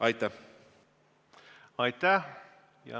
Aitäh!